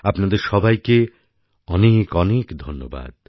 আপনাদের সবাইকে অনেকঅনেক ধন্যবাদ